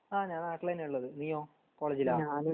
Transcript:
ആ ഞാ നാട്ടിലെനെ ള്ളത് നീയോ കോളേജിലാ